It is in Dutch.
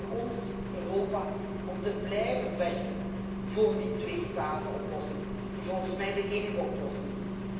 Het is aan ons, Europa, om te blijven vechten voor die tweestatenoplossing, die volgens mij de enige oplossing is.